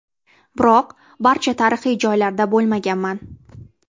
Biroq barcha tarixiy joylarida bo‘lmaganman.